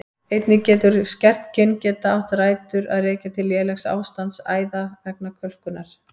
Einnig getur skert kyngeta átt rætur að rekja til lélegs ástands æða vegna kölkunar.